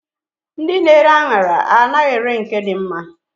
Ndị na-ere aṅara anaghị ere nke dị mma.